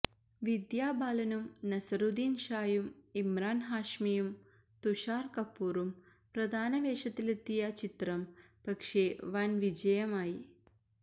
വിദ്യാബാലനും നസറുദ്ദീന് ഷായും ഇമ്രാന് ഹാഷ്മിയും തുഷാര് കപൂറും പ്രധാനവേഷത്തിലെത്തിയ ചിത്രം പക്ഷേ വന് വിജയമായി